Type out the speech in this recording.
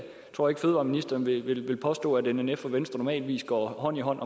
tror ikke fødevareministeren vil vil påstå at nnf og venstre normalt går hånd i hånd